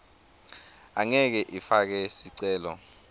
angeke ifake sicelo